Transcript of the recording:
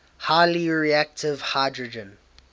highly reactive hydrogen